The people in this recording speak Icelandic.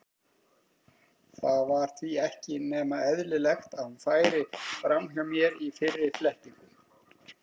Það var því ekki nema eðlilegt að hún færi fram hjá mér í fyrri flettingum.